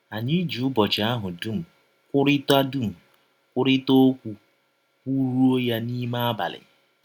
Anyị ji ụbọchị ahụ dụm kwụrịta dụm kwụrịta ọkwụ, kwụrụọ ya n’ime abalị.